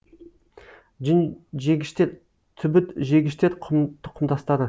жүнжегіштер түбітжегіштер тұқымдастары